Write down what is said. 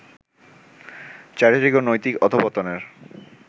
চারিত্রিক ও নৈতিক অধঃপতনের